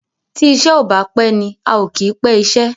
tí iṣé o bá pé ní ào kí pé iṣé.